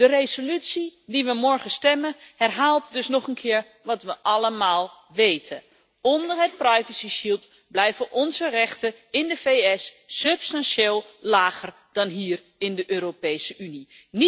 De resolutie waarover we morgen stemmen, herhaalt dus nog een keer wat we allemaal weten onder het privacyschild blijven onze rechten in de VS substantieel lager dan hier in de Europese Unie.